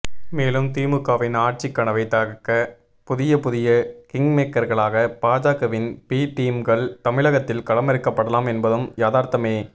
மேலும் திமுகவின் ஆட்சிக் கனவை தகர்க்க புதிய புதிய கிங்மேக்கர்களாக பாஜகவின் பி டீம்கள் தமிழகத்தில் களமிறக்கப்படலாம் என்பதும் யதார்த்தமே